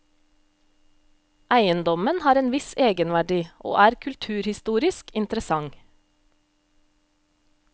Eiendommen har en viss egenverdi, og er kulturhistorisk interessant.